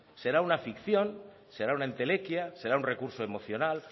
será una ficción será una entelequia será un recurso emocional